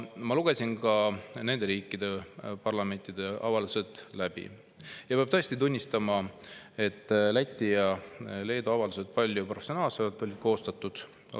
Ma lugesin ka nende riikide parlamentide avaldused läbi ja peab tõesti tunnistama, et Läti ja Leedu avaldused on palju professionaalsemalt koostatud.